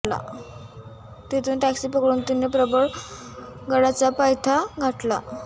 तेथून टॅक्सी पकडून तिने थेट प्रबळ गडाचा पायथा गाठला